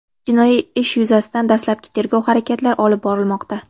Jinoiy ish yuzasidan dastlabki tergov harakatlari olib borilmoqda.